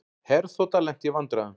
Herþota lenti í vandræðum